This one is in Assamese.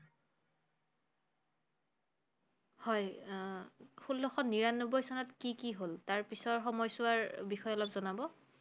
হয়, আহ ষোল্লশ নিৰানব্বৈ চনত কি কি হল? তাৰ পিছৰ সময়চোৱাৰ বিষয়ে অলপ জনাব।